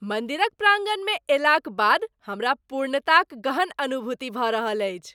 मन्दिरक प्राङ्गणमे अयलाक बाद हमरा पूर्णताक गहन अनुभूति भऽ रहल अछि।